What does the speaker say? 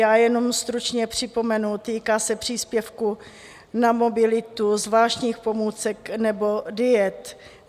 Já jenom stručně připomenu, týká se příspěvku na mobilitu, zvláštních pomůcek nebo diet.